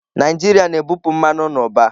Naijiria na-ebupụ mmanụ n'ụba.